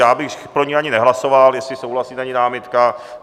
Já bych pro ni ani nehlasoval, jestli souhlasíte a není námitka.